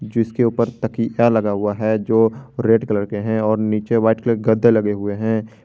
जिसके ऊपर तकिया लगा हुआ है जो रेड कलर के हैं और नीचे वाइट कलर गद्दे लगे हुए हैं।